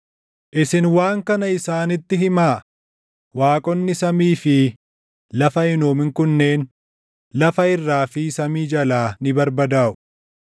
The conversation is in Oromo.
“Isin waan kana isaanitti himaa; ‘Waaqonni samii fi lafa hin uumin kunneen lafa irraa fi samii jalaa ni barbadaaʼu.’ ”